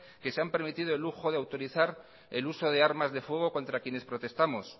que se han permitido el uso de autorizar el uso de armas de fuego contra quienes protestamos